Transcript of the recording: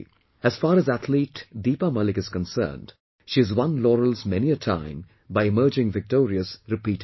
As far as Athlete Deepa Malik is concerned, she has won laurels many a times by emerging victorious repeatedly